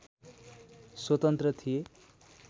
स्वतन्त्र थिए